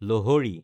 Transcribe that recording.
লহৰি